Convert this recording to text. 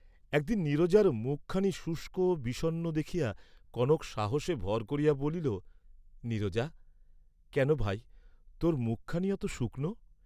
একদিন নীরজার মুখ খানি শুষ্ক বিষণ্ন দেখিয়া কনক সাহসে ভর করিয়া বলিল, নীরজা, কেন ভাই, তোর মুখখানি অত শুকনো?